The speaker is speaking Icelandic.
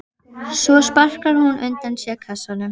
Svo sparkar hún undan sér kassanum.